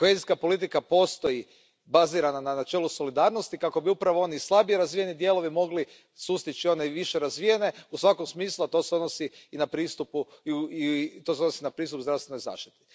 Kohezijska politika postoji bazirana na načelu solidarnosti kako bi upravo oni slabije razvijeni dijelovi mogli sustići one više razvijene u svakom smislu, a to se odnosi i na pristup zdravstvenoj zaštiti.